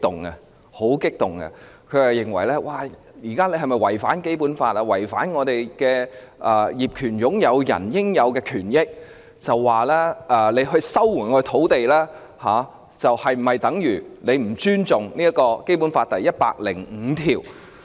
他問到我們現時是否要違反《基本法》和違反業權擁有人的應有權益，以及收回土地是否等於不尊重《基本法》第一百零五條。